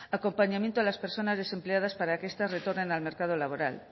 acompañamiento a las personas desempleadas para que estas retornen al mercado laboral